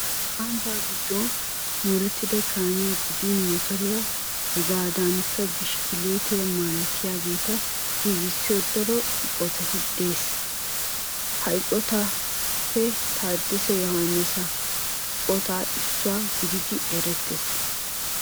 Ambbaa giddon moorettida kaamiya gidin motoriya hegaadankka bishkkiliitiya malatiyageeta giigissiyo daro eqotay de'ees. Ha eqotatuppe Taaddasa Yohaannisa eqotay issuwa gididi erettees.